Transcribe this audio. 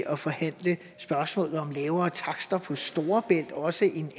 at forhandle spørgsmålet om lavere takster på storebælt også en